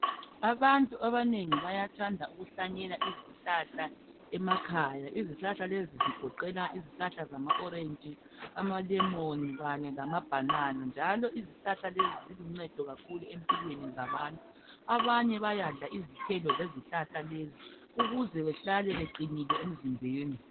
Abantu abanengi bayathanda ukuhlanyela izihlahla emakhaya, izihlahla lezi zigoqela izihlahla zama orange, amalemon kanye lama bhanana njalo izihlahla lezi ziluncedo kakhulu empilweni zabantu. Abanye bayadla izithelo zezihlahla lezi ukuze behlale beqinile emzimbeni.